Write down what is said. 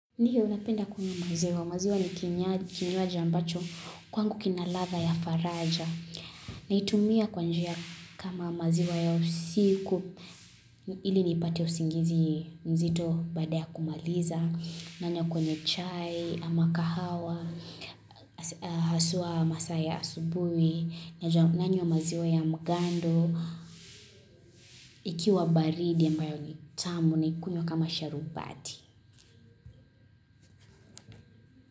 Ndio napenda kunywa maziwa, maziwa ni kinywaji ambacho kwangu kina ladha ya faraja Naitumia kwa njia kama maziwa ya usiku ili nipate usingizi mzito baada ya kumaliza nanywa kwenye chai, ama kahawa, haswa masaa ya asubuhi nanywa maziwa ya mgando, ikiwa baridi ambayo ni tamu naikunywa kama sharubati.